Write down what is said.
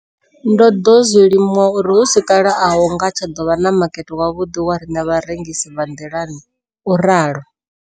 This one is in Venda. Ndo ḓo zwi limuwa uri hu si kale a hu nga tsha ḓo vha na makete wavhuḓi wa riṋe vharengisi vha nḓilani, o ralo.